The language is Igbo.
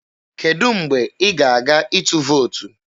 Kedụ mgbe ị ga-aga ịtụ vootu?